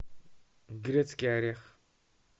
грецкий орех